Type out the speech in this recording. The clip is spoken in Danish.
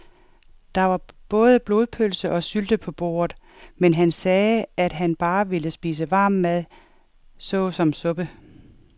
Der var både blodpølse og sylte på bordet, men han sagde, at han bare ville spise varm mad såsom suppe.